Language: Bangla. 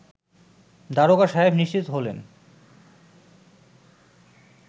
দারোগা সাহেব নিশ্চিত হলেন